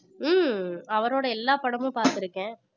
ஹம் அவரோட எல்லா படமும் பாத்திருக்கேன்